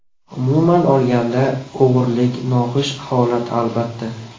Umuman olganda, o‘g‘irlik – noxush holat, albatta.